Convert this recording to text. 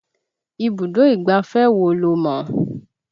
Ibùdó ìgbáfẹ́ wo lo mọ̀?